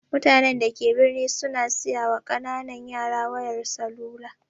Mutanen da ke birni su na siyawa ƙananan yara wayar salula